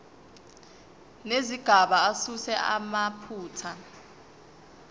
nezigaba asuse amaphutha